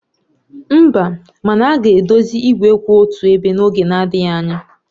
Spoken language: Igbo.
Mba, mana a ga-edozi igwe kwụ otu ebe n'oge adịghị anya